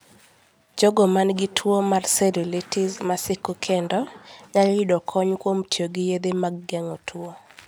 Jogo ma nigi tuwo mar cellulitis ma siko kendo, nyalo yudo kony kuom tiyo gi yedhe mag geng'o tuwo.